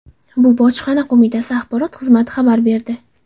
Bu Bojxona qo‘mitasi axborot xizmati xabar berdi.